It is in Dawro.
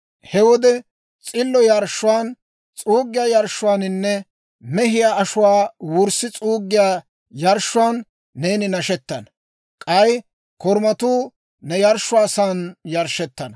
He wode s'illo yarshshuwaan, S'uuggiyaa yarshshuwaaninne, mehiyaa ashuwaa wurssi s'uuggiyaa yarshshuwaan neeni nashettana. K'ay korumatuu ne yarshshiyaasan yarshshettana.